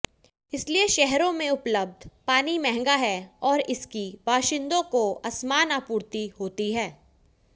इसलिए शहरों में उपलब्ध पानी महंगा है और इसकी बाशिंदों को असमान आपूर्ति होती है